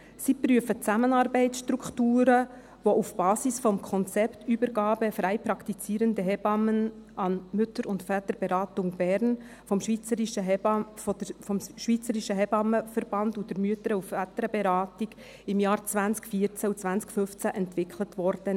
Sie prüfen Zusammenarbeitsstrukturen auf der Basis des Konzepts «Übergabe freipraktizierende Hebammen an MVB BE», das vom SHV und der MVB in den Jahren 2014 und 2015 entwickelt wurde.